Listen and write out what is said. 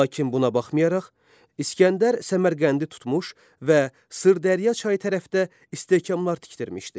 Lakin buna baxmayaraq, İsgəndər Səmərqəndi tutmuş və Sırdərya çayı tərəfdə istehkamlar tikdirmişdi.